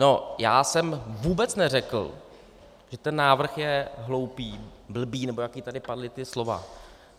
No já jsem vůbec neřekl, že ten návrh je hloupý, blbý, nebo jaká tady padla ta slova.